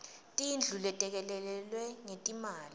tindlu letelekelelwe ngetimali